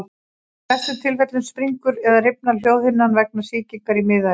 Í flestum tilfellum springur eða rifnar hljóðhimnan vegna sýkingar í miðeyranu.